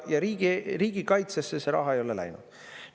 Ja riigikaitsesse see raha ei ole läinud.